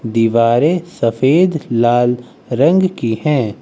दीवारें सफेद लाल रंग की हैं।